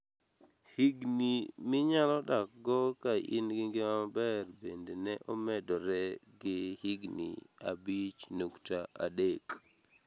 Higni minyalo dakgo ka in gi ngima maber bende ne omedore gi higni 6.3.